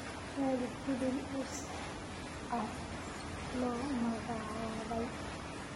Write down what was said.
raadi filim oscar loo magacaabay